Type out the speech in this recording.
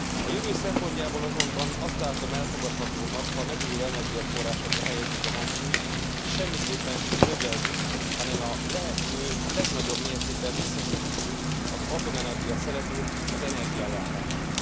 A jövő szempontjából azonban azt látom elfogadhatónak, ha a megújuló energiaforrásokra helyezzük a hangsúlyt, és semmiképpen sem növeljük, hanem a lehető legnagyobb mértékben visszaszorítjuk az atomenergia szerepét az energiaellátásban.